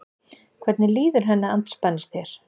Hvernig líður henni andspænis þér?